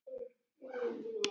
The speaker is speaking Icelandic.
En íslensk skal afurðin vera.